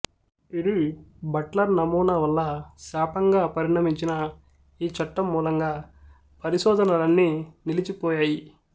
ఇది బట్లర్ నమూనా వల్ల శాపంగా పరినమించిన ఈ చట్టం మూలంగా పరిశోధనలన్నీ నిలిచి పోయాయి